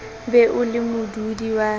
be o le modudi wa